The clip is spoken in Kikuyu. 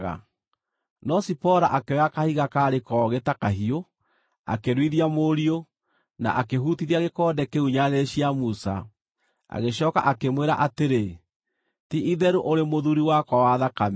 No Zipora akĩoya kahiga kaarĩ kogĩ ta kahiũ, akĩruithia mũriũ, na akĩhutithia gĩkonde kĩu nyarĩrĩ cia Musa. Agĩcooka akĩmwĩra atĩrĩ, “Ti-itherũ ũrĩ mũthuuri wakwa wa thakame.”